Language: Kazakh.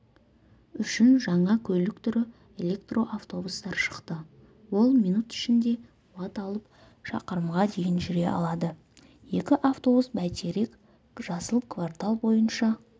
үшін жаңа көлік түрі электроавтобустар шықты ол минут ішінде қуат алып шақырымға дейін жүре алады екі автобус бәйтерек жасыл квартал бойынша